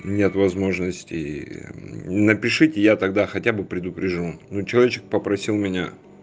нет возможности напишите я тогда хотя бы предупрежу ну человечек попросил меня